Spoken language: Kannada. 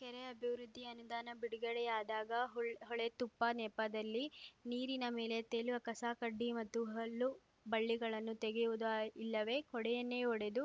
ಕೆರೆ ಅಭಿವೃದ್ಧಿ ಅನುದಾನ ಬಿಡುಗಡೆಯಾದಾಗ ಹೊಳ್ ಹೂಳೆತ್ತುಪ್ಪ ನೆಪದಲ್ಲಿ ನೀರಿನ ಮೇಲೆ ತೇಲುವ ಕಸಕಡ್ಡಿ ಮತ್ತು ಹಲ್ಲು ಬಳ್ಳಿಗಳನ್ನು ತೆಗೆಯುವುದು ಇಲ್ಲವೇ ಕೋಡಿಯನ್ನೇ ಒಡೆದು